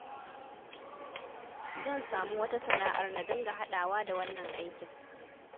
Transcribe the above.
Zan samu wata sana'ar na dinga haɗawa da wannan aikin